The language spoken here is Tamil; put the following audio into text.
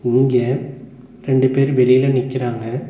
இங்க ரெண்டு பேரு வெளில நிக்கிறாங்க.